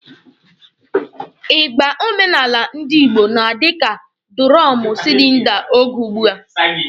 Ịgba omenala ndi Igbo na-adị ka dụrọmụ silinda oge ugbua.